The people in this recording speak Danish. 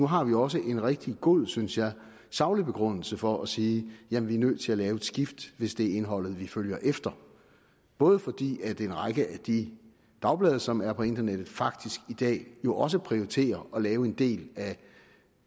har vi også en rigtig god synes jeg saglig begrundelse for at sige jamen vi er nødt til at lave et skift hvis det er indholdet vi følger efter både fordi en række af de dagblade som er på internettet faktisk i dag jo også prioriterer at lave en del af